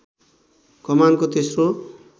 कमानको तेस्रो